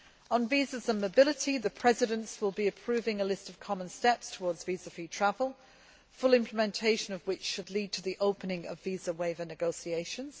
On visas and mobility, the Presidents will be approving a list of Common Steps towards visa free travel, full implementation of which should lead to the opening of visa waiver negotiations.